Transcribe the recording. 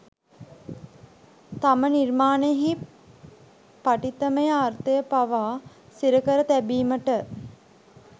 තම නිර්මාණයෙහි පඨිතමය අර්ථය පවා සිරකර තැබීමට